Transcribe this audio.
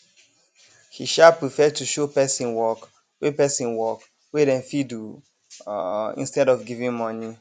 he um prefer to show person work wey person work wey dem fit do um instead of giving money